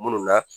Munnu na